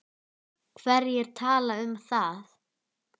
Hverjir tala um það?